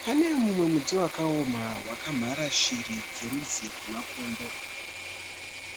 Pane mumwe muti wakaoma wakamhara shiri dzerudzi rwemakondo.